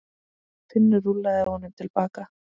Finnur rúllaði honum til baka.